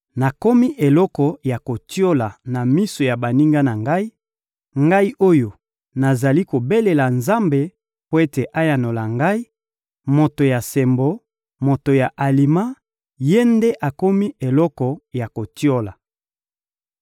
Nakomi eloko ya kotiola na miso ya baninga na ngai, ngai oyo nazali kobelela Nzambe mpo ete ayanola ngai; moto ya sembo, moto ya alima, ye nde akomi eloko ya kotiola!